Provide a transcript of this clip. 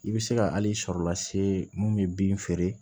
I bɛ se ka al'i sɔrɔ la se mun bɛ bin feere